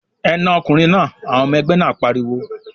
"Ẹ na ọkùnrin náà!" Àwọn ọmọ-ẹgbẹ́ náà pariwo.